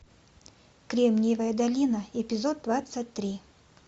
кремниевая долина эпизод двадцать три